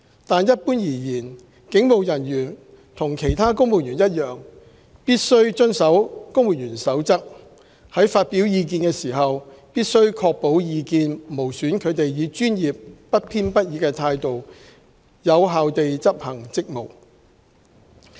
但一般而言，警務人員和其他公務員一樣，必須遵守《公務員守則》，在發表意見時必須確保意見無損他們以專業、不偏不倚的態度有效地執行職務。